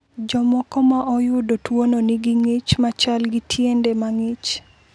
Jomoko ma oyudo tuwono nigi ng’ich ma chal gi tiende ma ng’ich.